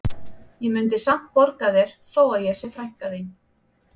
Ég mundi samt borga þér þó að ég sé frænka þín